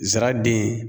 Nsara den